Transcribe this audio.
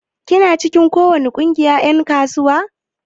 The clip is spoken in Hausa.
Kina cikin ko wani kungiyar en kasuwa?